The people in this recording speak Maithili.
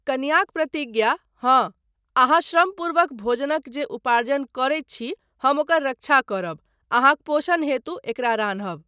कनियाक प्रतिज्ञा, हाँ, अहाँ श्रमपूर्वक भोजनक जे उपार्जन करैत छी हम ओकर रक्षा करब, अहाँक पोषण हेतु एकरा रान्हब।